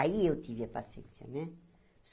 Aí eu tive a paciência, né?